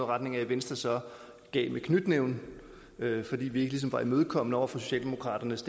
retning af at venstre så gav med knytnæven fordi vi ligesom ikke var imødekommende over for socialdemokraternes